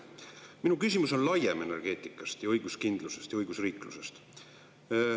Mu küsimus on laiem, energeetikast, õiguskindlusest ja õigusriiklusest.